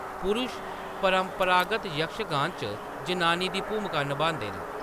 पुरुष परंपरागत यक्षगान च जनानी दी भूमका नभांदे न।